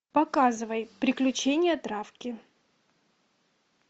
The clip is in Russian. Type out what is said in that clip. показывай приключения травки